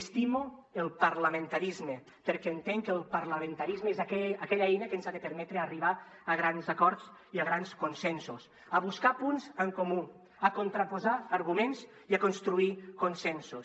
estimo el parlamentarisme perquè entenc que el parlamentarisme és aquella eina que ens ha de permetre arribar a grans acords i a grans consensos a buscar punts en comú a contraposar arguments i a construir consensos